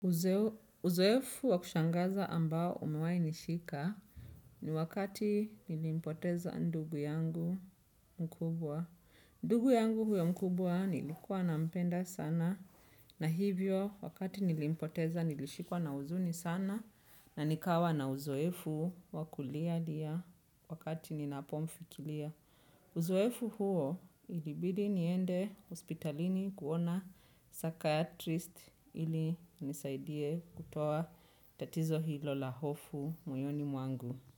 Uzoefu wa kushangaza ambao umewahi nishika ni wakati nilimpoteza ndugu yangu mkubwa. Ndugu yangu huyo mkubwa nilikuwa na mpenda sana. Na hivyo wakati nilimpoteza nilishikwa na huzuni sana na nikawa na uzoefu wa kulia lia wakati ninapo mfikiria. Uzoefu huo ilibidi niende hospitalini kuona psychiatrist ili inisaidie kutoa tatizo hilo la hofu moyoni mwangu.